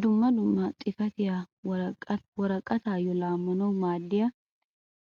Dumma dumma xifatiyaa woraqayyo laamanaw maaddiyaa